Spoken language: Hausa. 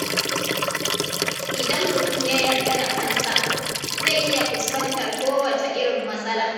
Idan mutum ya yarda da kansa, zai iya fuskantar kowacce irin matsala.